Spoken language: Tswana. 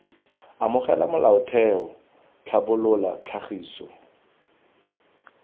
amogela molaotheo c tlhabolola tlhagiso